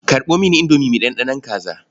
Karɓo mini indomi mai ɗanɗanon kaza.